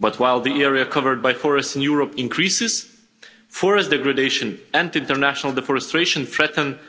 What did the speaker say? But while the area covered by forests in Europe increases, forest degradation and international deforestation threaten